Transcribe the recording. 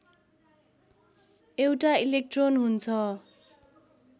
एउटा इलेक्ट्रोन हुन्छ